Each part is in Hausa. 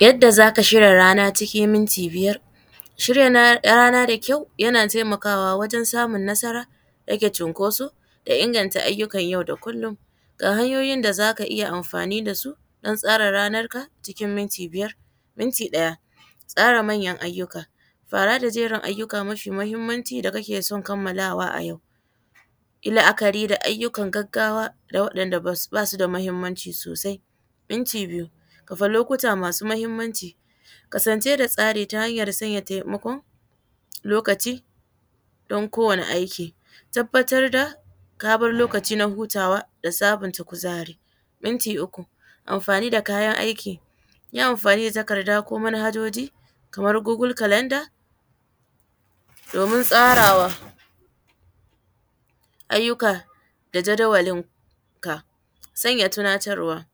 Yadda zaka shirya rana cikin minti biyar, shirya rana da kyau yana taimakawa wajen samun nasara rage cunkoso da inganta ayyukan yau da kullum, ga hanyoyin da zaka iya amfani da su don tsara ranar ka cikin minti biyar, minti ɗaya tsara manyan ayyuka fara da jerin ayyuka mafi muhimmanci da kake son kamalawa a yau, yi la’akari da ayyukan gaggawa da waɗanɗa basu da muhimmanci sosai, minti biyu kafa lokuta masu muhimmanci, kasance da tsari ta hanyar sanya taimako lokaci don kowane aiki, tabbatar da ka bar lokaci na hutawa da sabonta kuzari, minti uku amfani da kayan aiki, yi amfani takarda ko man hajoji kamar goggle calendar domin tsarawa ayyuka da jadawalin ka, sanya tunatarwa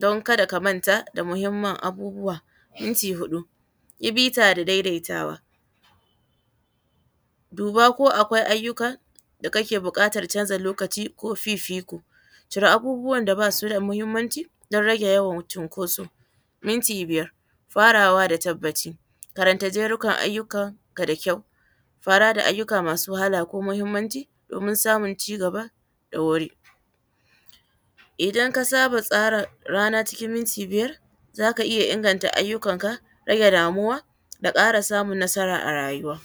don kada ka manta da muhimman abubuwa, minti huɗu yi bita da daidaitawa, duba ko akwai ayyukan da kake bukatar canza lokaci ko fifiko cire abubuwan da basu da muhimmanci don rage yawan cinkoso, minti biyar faraway da tabbaci, karanta jerin ayyukan ka da kyau fara da ayyuka masu wahala ko muhimmanci domin samun ci gaba da wuri idan ka saba tsara rana cikin minti biyar zaka iya inganta ayyukan ka, rage damuwa da kara samun nasara a rayuwa.